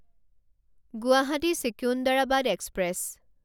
Guwahati Secunderabad express